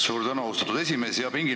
Suur tänu, austatud esimees!